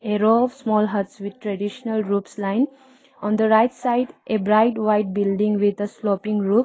A row of small huts with traditional roofs line on the right side a bright white building with a slopping roof.